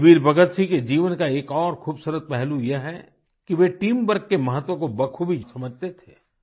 शहीद वीर भगतसिंह के जीवन का एक और खूबसूरत पहलू यह है कि वे टीम वर्क के महत्व को बख़ूबी समझते थे